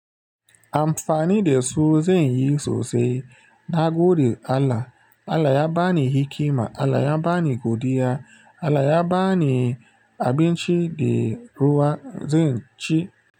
Amfani da su zan yi sosai. Na gode Allah. Allah ya bani hikima, Allah ya bani godiya, Allah ya bani abinci da ruwa, zan ci.